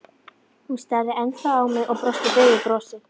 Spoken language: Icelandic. Hún starði ennþá á mig og brosti daufu brosi.